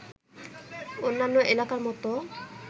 অন্যান্য এলাকার মতো